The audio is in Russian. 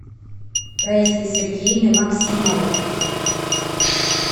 раисой сергеевной максимовой